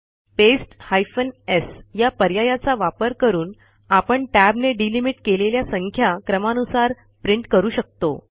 paste hyphen sया पर्यायाचा वापर करून आपण Tab ने delimitकेलेल्या संख्या क्रमानुसार प्रिंट करू शकतो